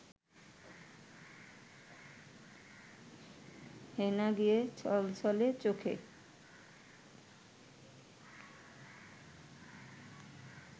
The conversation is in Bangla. হেনা গিয়ে ছলছলে চোখে